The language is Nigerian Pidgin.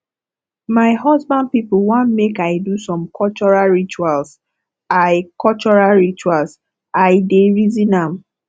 my husband pipo wan make i do some cultural rituals i cultural rituals i dey reason am